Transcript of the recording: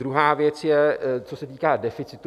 Druhá věc je co se týká deficitu.